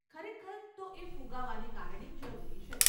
ખરેખર તો એ ફુગાવાને કારણે જરૂરી છે.